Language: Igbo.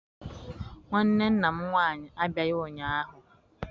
Nwanne nna m nwaanyị abịaghị ụnyaahụ.